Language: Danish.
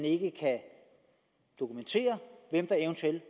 ikke kan dokumenteres hvem der eventuelt